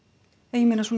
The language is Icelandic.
ég meina